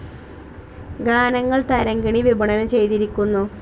ഗാനങ്ങൾ തരംഗിണി വിപണനം ചെയ്തിരിക്കുന്നു.